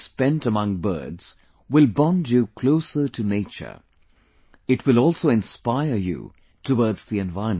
Time spent among birds will bond you closer to nature, it will also inspire you towards the environment